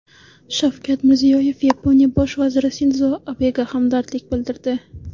Shavkat Mirziyoyev Yaponiya bosh vaziri Sindzo Abega hamdardlik bildirdi.